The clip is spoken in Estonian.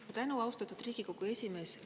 Suur tänu, austatud Riigikogu esimees!